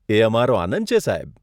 એ અમારો આનંદ છે, સાહેબ.